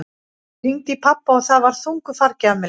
Ég hringdi í pabba og það var þungu fargi af mér létt.